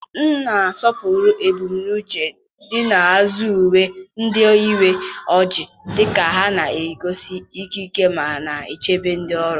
m na-asọpụrụ ebumnuche dị n'azụ uwe ndị uwe ojii, dịka ha na-egosi ikike ma na-echebe ndị ọrụ.